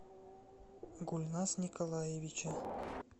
гульназ николаевича